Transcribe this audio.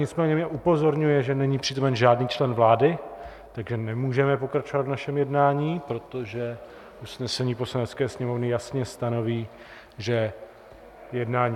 Nicméně mě upozorňuje, že není přítomen žádný člen vlády, tak nemůžeme pokračovat v našem jednání, protože usnesení Poslanecké sněmovny jasně stanoví, že jednání